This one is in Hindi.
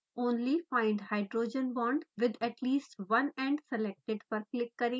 only find hbonds with at least one end selected पर क्लिक करें